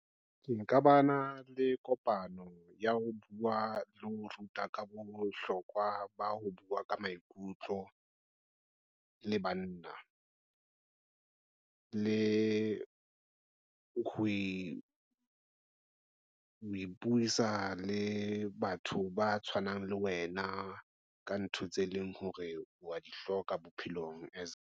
Ke nka bana le kopano ya ho bua le ho ruta ka bohlokwa ba ho bua ka maikutlo le banna le e ho le batho ba tshwanang le wena ka ntho tse leng hore wa di hloka bophelong.